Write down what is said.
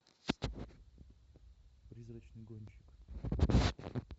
призрачный гонщик